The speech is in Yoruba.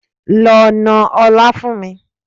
Lọ na ọlá fún mi!